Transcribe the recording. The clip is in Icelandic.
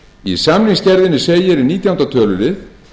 í samningsgerðinni segir nítjánda tölulið